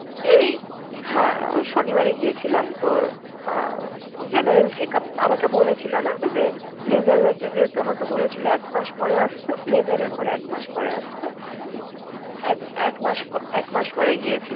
হ্যাঁ, ওই শনিবারে গিয়েছিলাম। তো, General checkup আমাকে বলছিলো না যে, laser হয়েছে যেহেতু আমাকে বলেছিল এক মাস পরে আসতে? laser এর পরে এক মাস পরে আসতে? এক~ এক মাস এক মাস পরে গিয়েছিলাম।